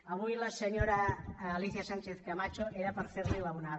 avui a la senyora alícia sánchez camacho era per fer li l’onada